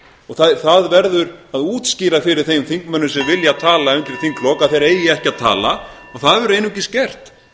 og það verður að útskýra fyrir þeim þingmönnum sem vilja tala undir þinglok að þeir eigi ekki að tala og það verður einungis gert